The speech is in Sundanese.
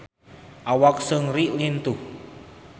Awak Seungri lintuh